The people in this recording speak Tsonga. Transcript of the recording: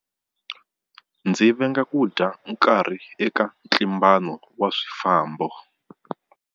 Ndzi venga ku dya nkarhi eka ntlimbano wa swifambo.